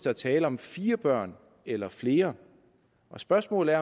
er tale om fire børn eller flere og spørgsmålet